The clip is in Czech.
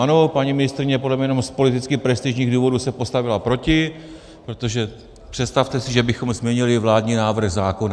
Ano, paní ministryně podle mě jenom z politických prestižních důvodů se postavila proti, protože představte si, že bychom změnili vládní návrh zákona!